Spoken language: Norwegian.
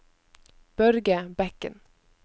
Børge Bekken